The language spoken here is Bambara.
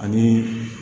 Ani